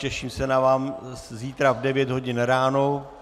Těším se na vás zítra v 9 hodin ráno.